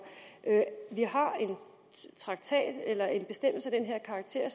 vi har en traktat eller en bestemmelse af den her karakter